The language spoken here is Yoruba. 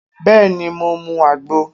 Bẹẹni, mo mu agbo